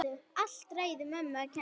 Allt ræðu mömmu að kenna!